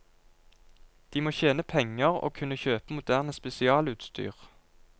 De må tjene penger og kunne kjøpe moderne spesialutstyr.